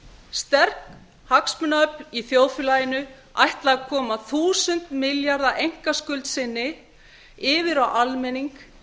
sterk hagsmunaöfl í þjóðfélaginu ætla að koma eitt þúsund milljarða einkaskuld sinni yfir á almenning